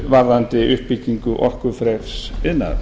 varðandi uppbyggingu orkufreks iðnaðar